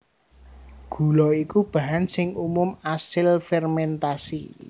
Gula iku bahan sing umum asil fermèntasi